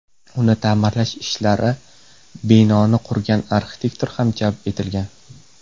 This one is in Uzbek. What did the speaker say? Uni ta’mirlash ishlarida binoni qurgan arxitektor ham jalb etilgan.